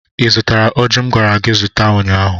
ị zụtara ọjị m gwara gị zụta ụnyaahụ?